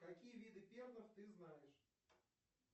какие виды перлов ты знаешь